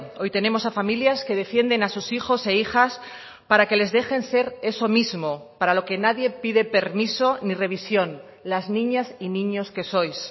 hoy tenemos a familias que defienden a sus hijos e hijas para que les dejen ser eso mismo para lo que nadie pide permiso ni revisión las niñas y niños que sois